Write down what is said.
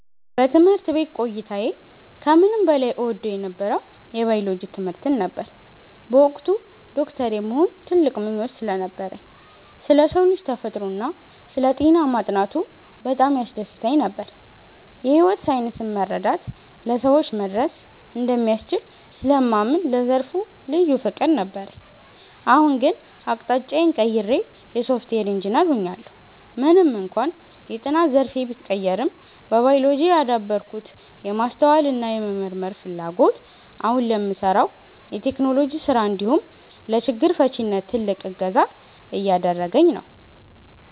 በትምህርት ቤት ቆይታዬ ከምንም በላይ እወደው የነበረው የባዮሎጂ ትምህርትን ነበር። በወቅቱ ዶክተር የመሆን ትልቅ ምኞት ስለነበረኝ፣ ስለ ሰው ልጅ ተፈጥሮና ስለ ጤና ማጥናቱ በጣም ያስደስተኝ ነበር። የሕይወት ሳይንስን መረዳት ለሰዎች መድረስ እንደሚያስችል ስለማምን ለዘርፉ ልዩ ፍቅር ነበረኝ። አሁን ግን አቅጣጫዬን ቀይሬ የሶፍትዌር ኢንጂነር ሆኛለሁ። ምንም እንኳን የጥናት ዘርፌ ቢቀየርም፣ በባዮሎጂ ያዳበርኩት የማስተዋልና የመመርመር ፍላጎት አሁን ለምሠራው የቴክኖሎጂ ሥራ እንዲሁም ለችግር ፈቺነት ትልቅ እገዛ እያደረገኝ ነው።